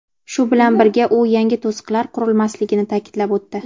Shu bilan birga u yangi to‘siqlar qurilmasligini ta’kidlab o‘tdi.